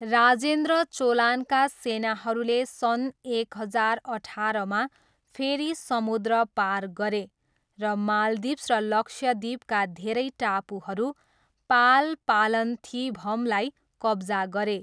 राजेन्द्र चोलानका सेनाहरूले सन् एक हजार अठारमा फेरि समुद्र पार गरे र माल्दिभ्स र लक्षद्वीपका धेरै टापुहरू पाल पालन्थिभमलाई कब्जा गरे।